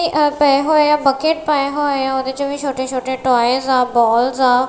ਤੇ ਏਹ ਪਾਏ ਹੋਏ ਆ ਬਕੇਟ ਪਾਯਾ ਹੋਏ ਆ ਓਹਦੇ ਚ ਵੀ ਛੋਟੇ ਛੋਟੇ ਟਾਏਸ ਆ ਬੋਲਜ਼ ਆ।